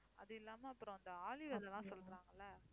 அது இல்லாம அப்புறம் அந்த ஆளி விதைலாம் சொல்றாங்க இல்லை